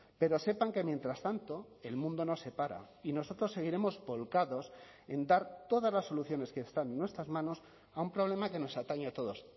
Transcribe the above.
pero sepan que mientras tanto el mundo no se para y nosotros seguiremos volcados en dar todas las soluciones que están en nuestras manos a un problema que nos atañe a todos